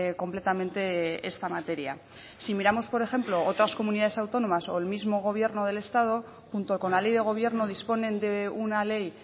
completamente esta materia si miramos por ejemplo otras comunidades autónomas o el mismo gobierno del estado junto con la ley de gobierno disponen de una ley